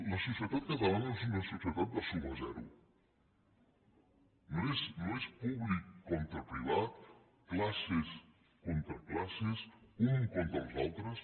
la societat catalana no és una societat de suma zero no és públic contra privat classes contra classes uns contra els altres